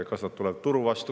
Kas need tulevad turu vastu?